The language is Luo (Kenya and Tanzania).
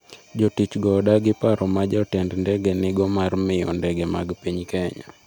Jotich go odagi paro ma jotend ndege nigo mar miyo ndege mag piny Kenya.